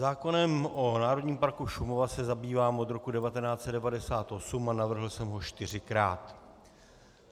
Zákonem o Národním parku Šumava se zabývám od roku 1998 a navrhl jsem ho čtyřikrát.